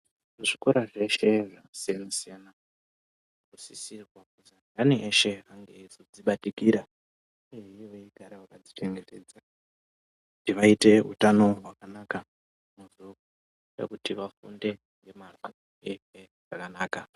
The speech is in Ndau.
Muzvikora zveshe zvakasiyana siyana minosisitwa kuzi andani eshe ange eizodzibatikira uyehe veigara vakadzichengetedza kuti vaite utano hwakanaka hunoita kuti vafunde ngemazvo uye zvakanaka.